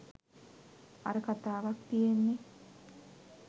අර කතාවක් තියෙන්නෙ